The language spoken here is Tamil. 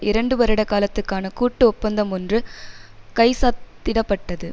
இரண்டு வருடகாலத்துக்கான கூட்டு ஒப்பந்தமொன்று கைச்சத்திடப்பட்டது